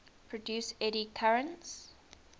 produce eddy currents